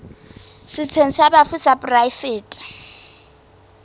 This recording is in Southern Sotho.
setsheng sa bafu sa poraefete